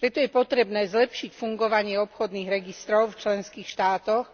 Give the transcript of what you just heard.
Preto je potrebné zlepšiť fungovanie obchodných registrov v členských štátoch,